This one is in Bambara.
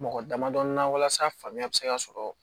Mɔgɔ damadɔni na walasa faamuya bɛ se ka sɔrɔ